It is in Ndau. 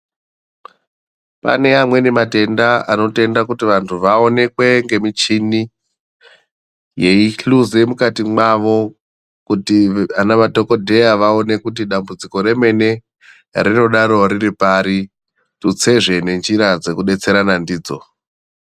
Pane amweni matenda anotenda kuti vantu vaonekwe nge michini yei hluze mukati mwavo kuti ana madhokodheya vaone kuti dambudziko remene rinodaro riri pari tutsezve ne njira dzeku detserana ndidzo.